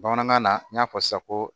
Bamanankan na n y'a fɔ sisan ko